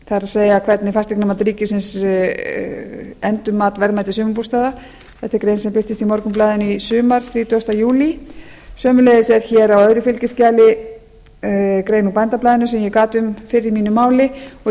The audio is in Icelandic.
það er hvernig fasteignamat ríkisins endurmat verðmæti sumarbústaða þetta er grein sem birtist í morgunblaðinu í sumar þrítugasta júlí sömuleiðis er hér á öðru fylgiskjali grein úr bændablaðinu sem ég gat um fyrr í mínu máli og í